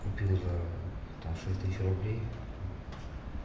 купил за там шесть тысяч рублей